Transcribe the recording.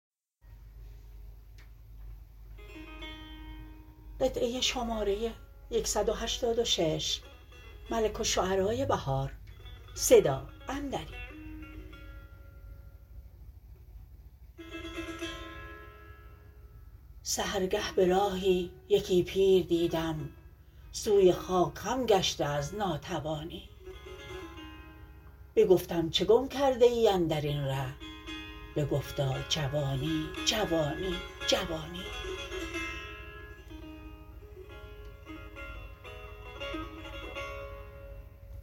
سحرگه به راهی یکی پیر دیدم سوی خاک خم گشته از ناتوانی بگفتم چه گم کرده ای اندرین ره بگفتا جوانی جوانی جوانی